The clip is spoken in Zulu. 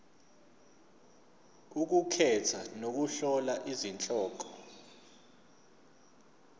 ukukhetha nokuhlola izihloko